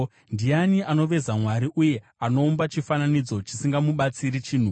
Ndiani anoveza mwari uye anoumba chifananidzo, chisingamubatsiri chinhu?